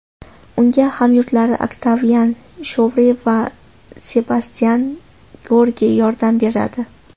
Unga hamyurtlari Oktavian Shovre va Sebastyan George yordam beradi.